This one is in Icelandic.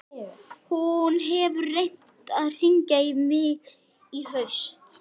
Hún gretti sig umsvifalaust framan í Lillu.